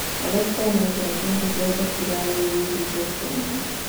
Alexa nengera kindũ gĩothe kĩria wũĩ wĩigie Jeff Koinange